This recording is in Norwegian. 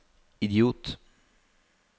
idiot